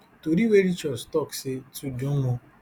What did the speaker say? tori wey reach us tok say tudun mun